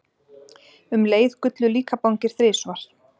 Um leið gullu líkabangir þrisvar.